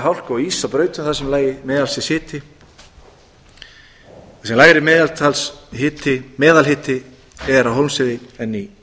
hálku og íss á brautum þar sem lægi meðalstigshiti þar sem lægri meðalhiti er á hólmsheiði en í